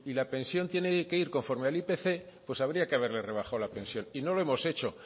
la pensión tiene que ir conforme al ipc pues habría que haberles rebajado la pensión y no lo hemos hecho